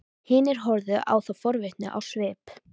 Hinir horfðu á þá forvitnir á svip.